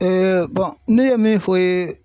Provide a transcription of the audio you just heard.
ne ye min fɔ i ye